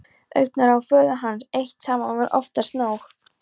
Augnaráð föður hans eitt saman var oftast nóg.